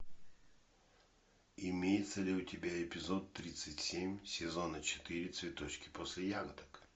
имеется ли у тебя эпизод тридцать семь сезона четыре цветочки после ягодок